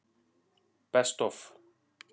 Best Of?